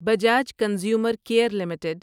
Bajaj consumer care limited